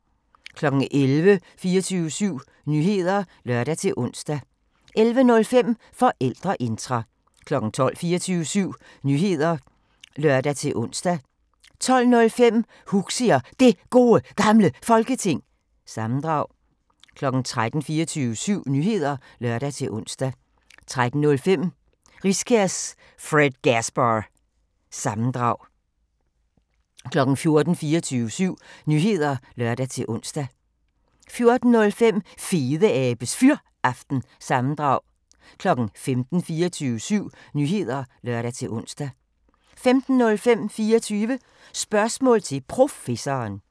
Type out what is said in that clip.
11:00: 24syv Nyheder (lør-ons) 11:05: Forældreintra 12:00: 24syv Nyheder (lør-ons) 12:05: Huxi og Det Gode Gamle Folketing – sammendrag 13:00: 24syv Nyheder (lør-ons) 13:05: Riskærs Fredgasbar- sammendrag 14:00: 24syv Nyheder (lør-ons) 14:05: Fedeabes Fyraften – sammendrag 15:00: 24syv Nyheder (lør-ons) 15:05: 24 Spørgsmål til Professoren